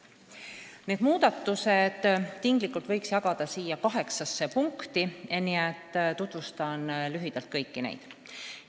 Need muudatused võiks tinglikult jagada kaheksasse punkti, mida ma lühidalt tutvustan.